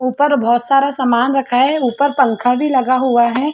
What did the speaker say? ऊपर बहुत सारा सामान रखा है। ऊपर पंखा भी लग हुआ है।